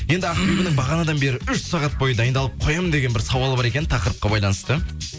енді ақбибінің бағанадан бері үш сағат бойы дайындалып қоямын деген бір сауалы бар екен тақырыпқа байланысты